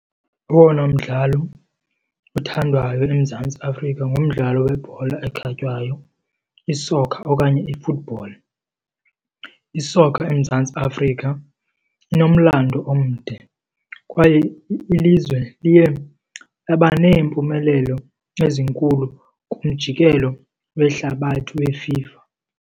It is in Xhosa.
Owona mdlalo uthandwayo eMzantsi Afrika ngumdlalo webhola ekhatywayo, i-soccer okanye i-football. I-soccer eMzantsi Afrika inomlando omde kwaye ilizwe liye laba neempumelelo ezinkulu kumjikelo wehlabathi weFIFA.